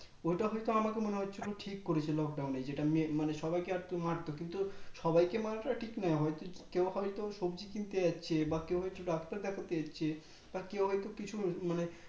ওইটা হয়তো আমাকে মনে হচ্ছে একদম ঠিক করেছে Lockdown এ যেটা মে মানে সবাইকে আর কি মারতো কিন্তু সবাইকে মারাটা ঠিক নয় হয়তো কেও হয় তো সবজি কিনতে যাচ্ছে বা কেও হয় তো ডাক্তার দেখতে যাচ্ছে বা কেও হয় তো কিছু মানে